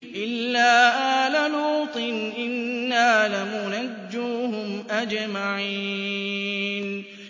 إِلَّا آلَ لُوطٍ إِنَّا لَمُنَجُّوهُمْ أَجْمَعِينَ